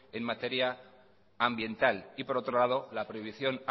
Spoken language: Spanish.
en materia ambiental y por otro lado la prohibición